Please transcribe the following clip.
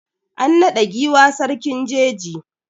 An naɗa giwa sarkin jeji.